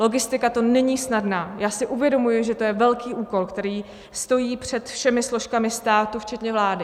Logistika to není snadná, já si uvědomuji, že to je velký úkol, který stojí před všemi složkami státu, včetně vlády.